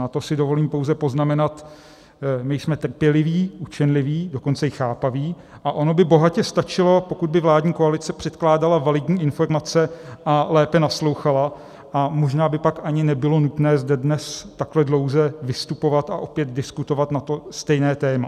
Na to si dovolím pouze poznamenat, my jsme trpěliví, učenliví, dokonce i chápaví a ono by bohatě stačilo, pokud by vládní koalice předkládala validní informace a lépe naslouchala, a možná by pak ani nebylo nutné zde dnes takhle dlouze vystupovat a opět diskutovat na to stejné téma.